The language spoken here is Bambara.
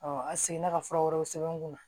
a seginna ka fura wɛrɛw sɛbɛn n kun na